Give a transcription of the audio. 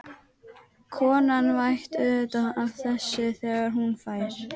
Konan veit auðvitað af þessu þegar hún fer.